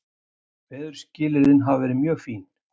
Veðurskilyrðin hafa verið mjög fín